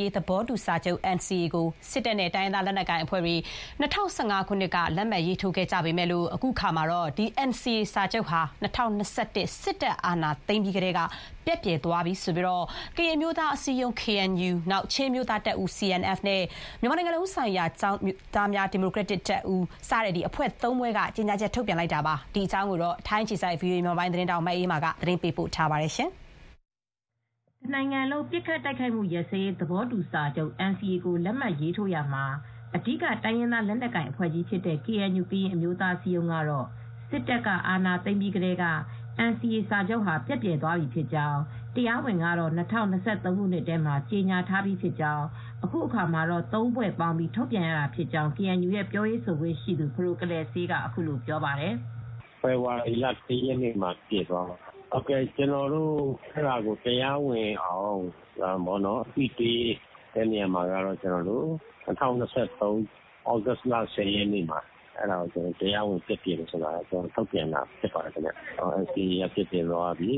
ရေးသဘောတူစာချုပ် NCA ကို စစ်တပ်နဲ့တိုင်းရင်းသားလက်နက်ကိုင်အဖွဲ့တွေ ၂၀၁၅ ခုနှစ်က လက်မှတ်ထိုးခဲ့ရာမှာ အခုအခါမှာတော့ NCA စာချုပ်ဟာ ၂၀၂၁ ခုနှစ်မှာစစ်တပ်က အာဏာသိမ်းပြီးကတည်းက ပျက်ပြယ်သွားပြီဆိုပြီး ကရင်အမျိုးသားအစည်းအရုံး ၊ ချင်းအမျိုးသားတပ်ဦး ၊ မြန်မာနို်ငံလုံးဆိုင်ရာ ကျောင်းသားများဒီမိုကရက်တစ်တပ်ဦး စတဲ့ အဖွဲ့သုံးဖွဲ့က ကြေညာချက်ထုတ်ပြန်ခဲ့ပါတယ်။ ဒီသတင်းကို ဗွီအိုအေသတင်းထောက် မအေးအေးမာကသတင်းပေးပို့ထားပါတယ်။ တနိုင်ငံလုံးအပစ်ရပ်စဲရေးသဘောတူစာချုပ် NCA ကို လက်မှတ်ရေးထိုးရာမှာအဓိက တိုင်းရင်းသားလက်နက်ကိုင်အဖွဲ့ကြီးဖြစ်တဲ့ KNU ကရင်အမျိုးသားအစည်းအရုံးဟာ စစ်တပ်က အာဏာသိမ်းပြီးကတည်းက NCA စာချုပ်ပျက်ပြယ်သွားပြီဖြစ်ကြောင်း တရားဝင်ကတော့ ၂၀၂၃ ခုနှစ်ထဲမှာ ကြေညာထားပြီးဖြစ်ကြောင်း အခုအခါမှာတော့ ၃ ဖွဲ့ပေါင်းပြီး ထုတ်ပြန်ရတာဖြစ်ကြောင်း KNU ရဲ့ ပြောရေးဆိုခွင့်ရှိသူ ဖဒိုကလယ်စေးက အခုလိုပြောပါတယ်။ "ဖေဖေါ်ဝါရီ လ ၁ ရက်နေ့မှာပျက်ပြယ်သွားပါပြီ။ ကျနော်တို့တရားဝင်အောင် အသိပေးတဲ့နေရာမှာတော့၂၀၂၃ ခုနှစ် ဩဂုတ်လ ရက်နေ့မှာ တရားဝင်ပျက်ပြယ်တယ်ဆိုတာ ထုတ်ပြန်ထားပါတယ်။ NCA စာချုပ်ပျက်ပြယ်သွားပြီ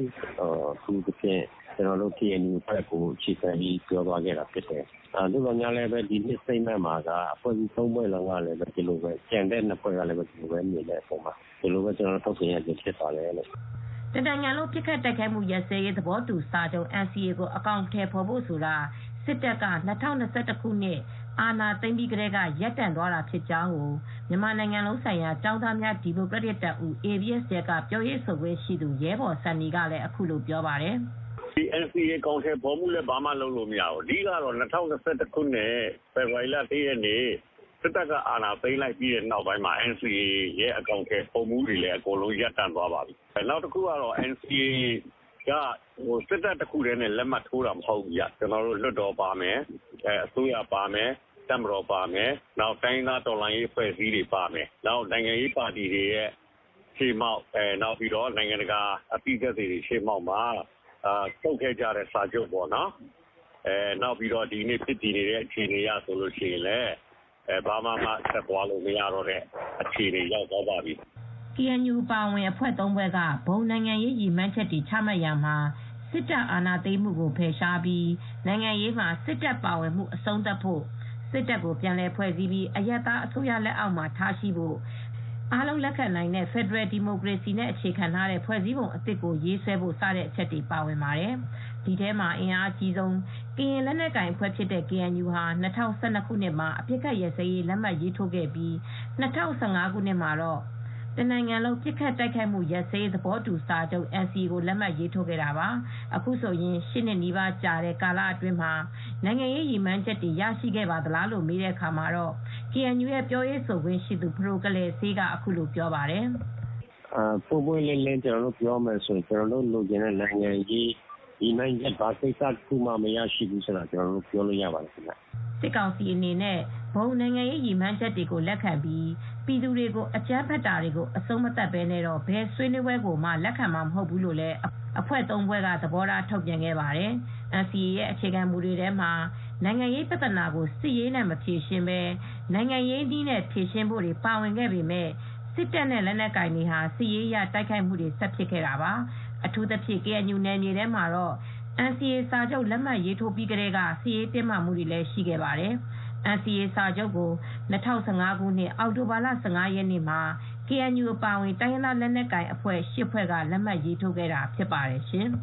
ဖြစ်ကြောင်းကို ကျနော်တို့ KNU အဖွဲ့ကိုပဲအခြေခံပြီး ပြောသွားခဲ့တာဖြစ်ပါတယ်။ သို့သော်လည်း ဒီ statement မှာတော့ကျန်တဲ့အဖွဲ့နှစ်ဖွဲ့ကလည်း အဲဒီလိုမြင်တဲ့အပေါ်မှာ ကျနော်တို့ ပူးပေါင်းထုတ်ပြန်ရတာဖြစ်ပါတယ်။" တနိုင်ငံလုံးပစ်ခတ်တိုက်ခိုက်မှု ရပ်စဲရေးသဘောတူစာချုပ် NCA ကို အကောင်ထည်ဖော်ဖို့ဆိုတာ စစ်တပ်က ၂၀၂၁ ခုနှစ်အာဏာသိမ်းပြီးကတည်းက ရပ်တန့်သွာတာဖြစ်ကြောင်းကို မြန်မာနိုင်ငံလုံးဆိုင်ရာ ကျောင်းသားများဒီမိုကရက်တစ်တပ်ဦး ABSDF က ပြောရေးဆိုခွင့်ရှိသူ ရဲဘော်ဆန်နီကလည်း အခုလိုပြောပါတယ်။ "NCA အကောင်ထည်ဖော်မှုလည်း လုပ်လို့ မရပါဘူး။ ၂၀၂၁ ခုနှစ်စစ်တပ်က အာဏာသိမ်းလိုက်ချိန်ကစလို့ NCA အကောင်အထည်ဖော်မှုတွေလည်း အားလုံးရပ်တန့်သွားပါပြီ။ နောက်တခုက NCA က စစ်တပ်တခုတည်းနဲ့ လက်မှတ်ထိုးထားမဟုတ်ပါဘူး။ လွှတ်တော်ပါမယ်။ အစိုးရပါမယ်။ တပ်မတော်ပါမယ်။ တိုင်းရင်းသားအဖွဲ့အစည်းပါမယ်။ နိုင်ငံရေးပါတီတွေရဲ့ရှေ့မှောက် နိုင်ငံတကာက အသိသက်သေတွေရှေ့မှာ ချုပ်ခဲ့တဲ့စာချုပ်ပေါ့နော်၊ နောက်ပြီး ဒီကနေ့ ဖြစ်တည်နေတဲ့အနေအထားအရ ဘာမှဆက်သွားလို့မှမရတဲ့အခြေအနေပေါ့နော်။" KNU အပါအဝင် အဖွဲ့သုံးဖွဲ့က ဘုံနိုင်ငံရေးရည်မှန်းချက်တွေချမှတ်ရာမှာ စစ်တပ်အာဏာသိမ်းမှုကိုဖယ်ရှားပြီး နို်ငံရေးမှာ စစ်တပ်ပါဝင်မှုအဆုံးသတ်ဖို့၊ စစ်တပ်ကို ပြန်လည်ဖွဲ့စည်းပြီး အရပ်သားအစိုးရအုပ်ချုပ်မှုလက်အောက်မှာထားဖို့၊ အားလုံးလက်ခံနိုင်တဲ့ ဖယ်ဒရယ်နဲ့ဒီမိုကရေစီကိုအခြေခံတဲ့ ဖွဲ့စည်းပုံအသစ်ကိုရေးဆွဲဖို့ စတဲ့အချက်တွေပါဝင်ပါတယ်။ ဒီထဲမှာအင်အားအကြီးဆုံး ကရင်လက်နက်ကိုင်အဖွဲ့ KNU ဟာ၂၀၁၂ ခုနှစ်မှာ အပစ်အခတ်ရပ်စဲရေးလက်မှတ်ရေးထိုးခဲ့ပြီး ၂၀၁၅ ခုနှစ်မှာတော့ တနိုင်ငံလုံးပစ်ခတ်တိုက်ခိုက်မှုရပ်စဲရေး သဘောတူစာချုပ် NCA ကို လက်မှတ်ရေးထိုးခဲ့တာပါ။ အခုဆိုရင် ၈ နှစ်နီးပါးကြာတဲ့ကာလအတွင်း နိုင်ငံရေးရည်မှန်းချက်တွေ ရရှိခဲ့ပါသလားလို့ မေးတဲ့အခါမှာ KNU ရဲ့ပြောရေးဆိုခွင့်ရှိသူ ဖဒိုကလယ်စေးကအခုလိုပြောပါတယ်။ "ပွင့်ပွင့်လင်းလင်းပြောရရင် ကျနော်တို့ လိုချင်ခဲ့တဲ့ နိုင်ငံရေးရည်မှန်းချက် ဘာတခုမှ မရခဲ့ဘူးဆိုတာ ပြောလို့ရပါတယ်။" စစ်ကောင်စီအနေနဲ့ ဘုံနိုင်ငံရေးရည်မှန်းချက်တွေကိုလက်ခံပြီး ပြည်သူတွေကိုအကြမ်းဖက်တာတွေကိုအဆုံးမသတ်ပဲနဲ့ဘယ်ဆွေးနွေးပဲွကိုမှ လက်ခံမှာမဟုတ်ဘူးလို့လည်း အဖွဲ့ သုံးဖွဲ့က သဘောထားထုတ်ပြန်ခဲ့ပါတယ်။ NCA ရဲ့အခြေခံမူတွေထဲမှာ နိင်ငံရေးပြဿနာကို စစ်ရေးနဲ့မဖြေရှင်းဘဲ နိုင်ငံရေးနည်းနဲ့ဖြေရှင်းဖို့တွေ ပါဝင်ခဲ့ပေမယ့် စစ်တပ်နဲ့လက်နက်ကိုင်အဖွဲ့တွေဟာ စစ်ရေးအရဆက်ပြီး တိုက်ခိုက်ခဲ့တာပါ။ အထူးသဖြင့် KNU နယ်မြေတွေမှာတော့ NCA စာချုပ်လက်မှတ်ထိုးပြီးကတည်းက စစ်ရေးတင်းမာနေခဲ့ပါတယ်၊NCA စာချုပ်ကို ၂၀၁၅ ခုနှစ်အောက်တိုဘာလ ၁၅ ရက်နေ့မှာ KNU အပါအဝင် တိုင်းရင်းသားလက်နက်ကိုင်အဖွဲ့ ၈ ဖွဲ့က လက်မှတ်ရေးထိုးခဲ့တာဖြစ်ပါတယ်ရှင်။